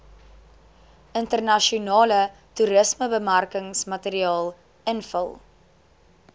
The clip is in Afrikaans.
internasionale toerismebemarkingsmateriaal invul